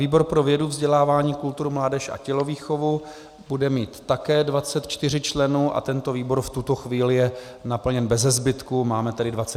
Výbor pro vědu, vzdělání, kulturu, mládež a tělovýchovu bude mít také 24 členů a tento výbor v tuto chvíli je naplněn beze zbytku, máme tedy 24 návrhů.